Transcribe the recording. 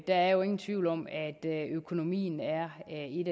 der er jo ingen tvivl om at økonomien er